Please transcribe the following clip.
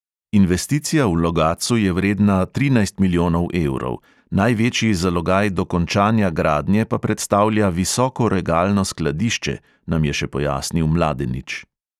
Investicija v logatcu je vredna trinajst milijonov evrov, največji zalogaj dokončanja gradnje pa predstavlja visokoregalno skladišče, nam je še pojasnil mladenič.